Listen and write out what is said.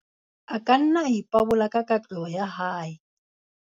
a ka nna a ipabola ka katleho ya hae